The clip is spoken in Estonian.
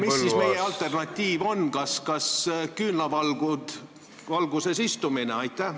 Mis siis meie alternatiiv on, kas küünlavalguses istumine?